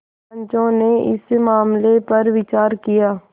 पंचो ने इस मामले पर विचार किया